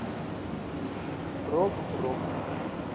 прог рок